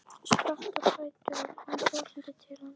Spratt á fætur og kom brosandi til hans.